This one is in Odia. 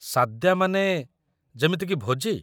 ସାଦ୍ୟା ମାନେ, ଯେମିତିକି ଭୋଜି?